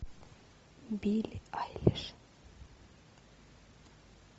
билли айлиш